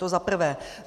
To za prvé.